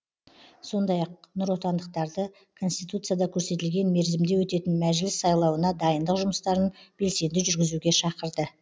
сондай ақ нұротандықтарды конституцияда көрсетілген мерзімде өтетін мәжіліс сайлауына дайындық жұмыстарын белсенді жүргізуге шақырды